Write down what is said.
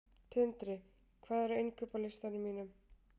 Tindri, hvað er á innkaupalistanum mínum?